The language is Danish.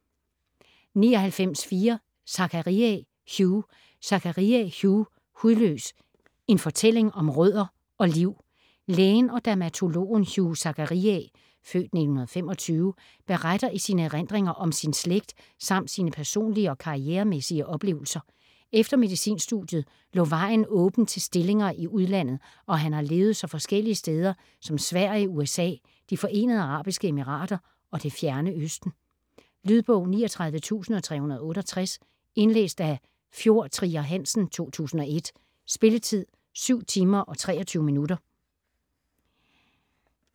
99.4 Zachariae, Hugh Zachariae, Hugh: Hudløs: en fortælling om rødder og liv Lægen og dermatologen Hugh Zachariae (f. 1925) beretter i sine erindringer om sin slægt,samt sine personlige og karrieremæssige oplevelser. Efter medicinstudiet lå vejen åben til stillinger i udlandet og han har levet så forskellige steder som Sverige, USA, De Forenede Arabiske Emirater og det fjerne Østen. Lydbog 39368 Indlæst af Fjord Trier Hansen, 2001. Spilletid: 7 timer, 23 minutter.